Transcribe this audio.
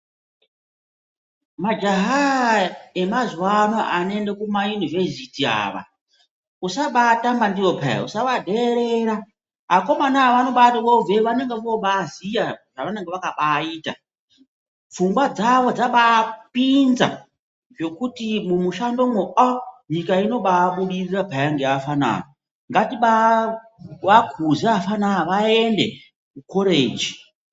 Majahaaa! emazuwa ano anoende kumayunivesiti ava usabaatamba ndiwo peya usavadheerera akomana ava vanobati obveyo vanonge vobaziye zvavanenge vakabaita pfungwa dzawo dzaba apinza zvekuti mumishandomwo aaah! nyika inoba yabudirira peya ngaafana aya ngatibaakuza afana aya aende kukoreji.